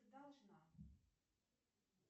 должна